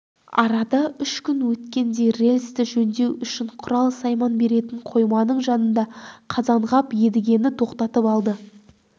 арада үш күн өткенде рельсті жөндеу үшін құрал-сайман беретін қойманың жанында қазанғап едігені тоқтатып алды